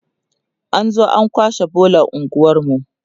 an zo an kwashe bolar unguwarmu